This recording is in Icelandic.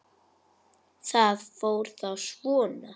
Það fór þá svona.